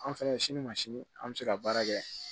An fɛnɛ sini ma sini an be se ka baara kɛ